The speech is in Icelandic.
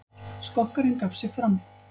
Skokkarinn gaf sig fram